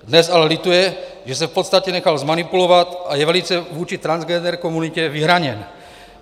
Dnes ale lituje, že se v podstatě nechal zmanipulovat, a je velice vůči transgender komunitě vyhraněn.